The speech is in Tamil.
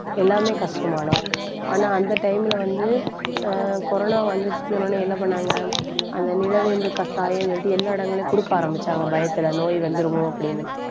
எல்லாமே கஷ்டமானோம் ஆனா அந்த time ல வந்து ஆஹ் corona வந்துச்சு சொன்ன உடனே என்ன பண்ணாங்க? அந்த நிலவேம்பு கசாயம்ன்னு சொல்லிட்டு எல்லா இடங்களையும் கொடுக்க ஆரம்பிச்சாங்க பயத்துல, நோய் வந்துருமோ? அப்படின்னு